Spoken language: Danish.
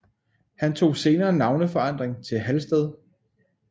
Han tog senere navneforandring til Halsted